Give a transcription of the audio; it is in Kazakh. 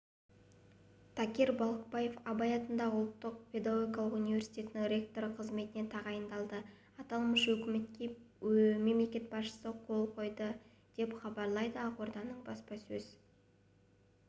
такир балықбаев абай атындағы қазақ ұлттық педагогикалық университетінің ректоры қызметіне тағайындалды аталмыш өкімге мемлекет басшысы қол қойды деп хабарлайды ақорданың баспасөз